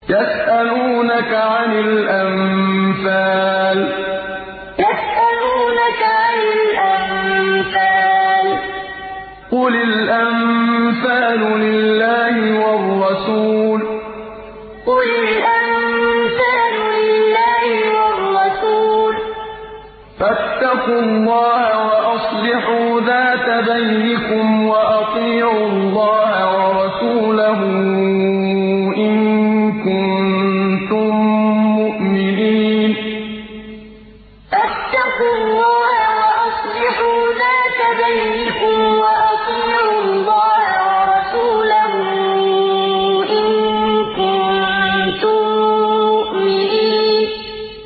يَسْأَلُونَكَ عَنِ الْأَنفَالِ ۖ قُلِ الْأَنفَالُ لِلَّهِ وَالرَّسُولِ ۖ فَاتَّقُوا اللَّهَ وَأَصْلِحُوا ذَاتَ بَيْنِكُمْ ۖ وَأَطِيعُوا اللَّهَ وَرَسُولَهُ إِن كُنتُم مُّؤْمِنِينَ يَسْأَلُونَكَ عَنِ الْأَنفَالِ ۖ قُلِ الْأَنفَالُ لِلَّهِ وَالرَّسُولِ ۖ فَاتَّقُوا اللَّهَ وَأَصْلِحُوا ذَاتَ بَيْنِكُمْ ۖ وَأَطِيعُوا اللَّهَ وَرَسُولَهُ إِن كُنتُم مُّؤْمِنِينَ